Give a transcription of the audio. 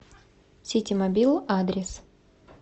ситимобил адрес